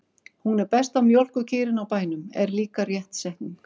Hún er besta mjólkurkýrin á bænum, er líka rétt setning.